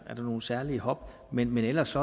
nogen særlige hop men ellers